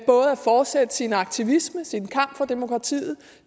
fortsætte sin aktivisme sin kamp for demokratiet